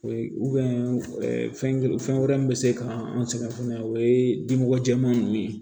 O ye fɛn wɛrɛ min bɛ se ka an sɛgɛn fana o ye dimɔgɔ jɛman ninnu ye